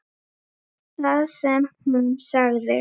Það sem hún sagði